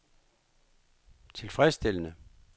tilfredsstillende